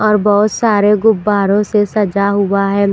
और बहुत सारे गुब्बारों से सजा हुआ है।